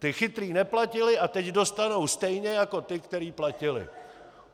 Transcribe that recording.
Ti chytří neplatili a teď dostanou stejně jako ti, kteří platili.